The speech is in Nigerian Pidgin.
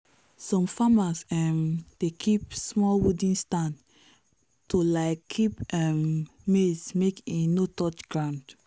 some farmers um dey build small wooden stand to um keep um maize make e no touch ground.